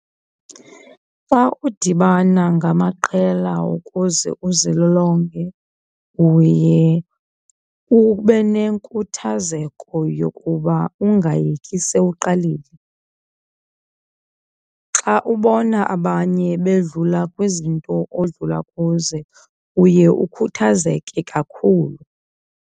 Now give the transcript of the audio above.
Xa udibana ngamaqela ukuze uzilolonge uye ube nenkuthazeko yokuba ungayeki sewuqalile. Xa ubona abanye bedlula kwizinto odlula kuzo uye ukhuthazeke kakhulu.